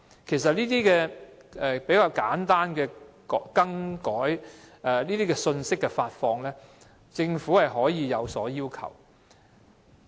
其實，就簡單信息的發放，例如服務的更改，政府是可以有所要求的。